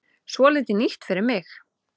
Svolítið nýtt fyrir mig.